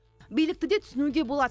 билікті де түсінуге болады